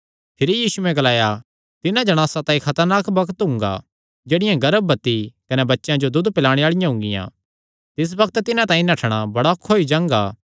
तिन्हां दिनां च जेह्ड़ी जणांस गर्भवती कने दूद पिलांदी हुंगी तिसा तांई हाय हाय